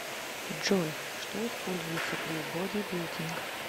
джой что используется при бодибилдинг